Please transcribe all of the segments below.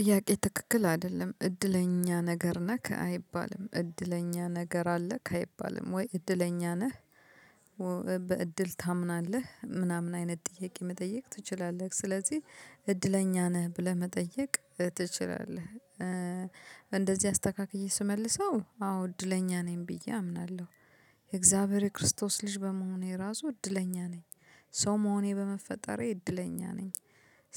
ጥያቄ ትክክል አደለም እድለኛ ነገር ነክ አይባልም እድለኛ ነገር አለክ አይባልም ወይ እድለኛ ነህ? በእድል ታምናለህ ምናምን አይነት ጥያቄ መጠየቅ ትችላለህ ስለዚህ እድለኛ ነህ ብለህ መጠየቅ ትችላለህ። እንደዚህ አስተካክዬ ስመልሰው አዎ እድለኛ ነኝ ብዬ አምናለሁ የእግዚአብሔር የክርስቶስ ልጅ በመሆኔ ራሱ እድለኛ ነኝ። ሰው መሆኔ በመፈጠሬ እድለኛ ነኝ።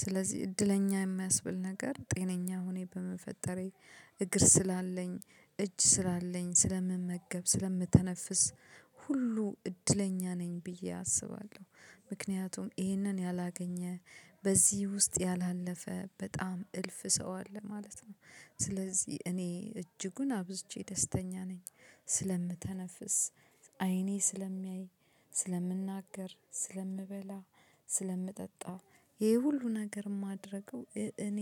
ስለዚህ እድለኛ የሚያስብል ነገር ጤነኛ ሆኜ በመፈጠሬ እግር ስላለኝ እጅ ስላለኝ ስለምመገብ ስለምተነፍስ ሁሉ እድለኛ ነኝ ብዬ አስባለሁ። ምክንያቱም ይሄንን ያላገኘ በዚህ ውስጥ ያላለፈ በጣም እልፍ ሰው አለ ማለት ነው። ስለዚህ እኔ እጅጉን አብዝቼ ደስተኛ ነኝ። ስለምተነፍስ አይኔ ስለሚያይ ስለምናገር ስለምበላ ስለምጠጣ ይሄ ሁሉ ነገር ማደርገው እኔ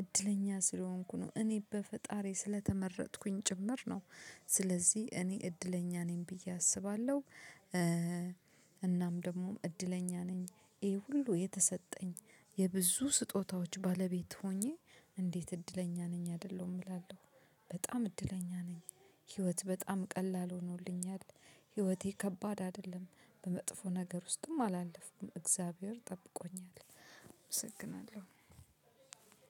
እድለኛ ስለሆንኩ ነው እኔ በፈጣሪ ስለተመረጥኩኝ ጭምር ነው። ስለዚህ እኔ እድለኛ ነኝ ብዬ አስባለሁ። እናም ደግሞ እድለኛ ነኝ። ይሄ ሁሉ የተሰጠኝ የብዙ ስጦታዎች ባለቤት ሆኜ እንዴት እድለኛ ነኝ አይደለሁም እላለሁ? በጣም እድለኛ ነኝ። ህይወት በጣም ቀላል ሆኖልኛል። ህይወቴ ከባድ አይደለም። በመጥፎ ነገር ውስጥም አላለፍኩም እግዚአብሔር ጠብቆኛል። አመሰግናለሁ።